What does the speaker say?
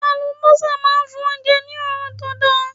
Àlùbọ́sà máa ń fún oúnjẹ ní òórùn tó da.